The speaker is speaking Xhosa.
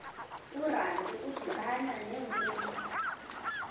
urantu udibana nenkunzi